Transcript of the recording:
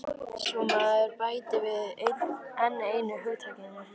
Svo maður bæti við enn einu hugtakinu.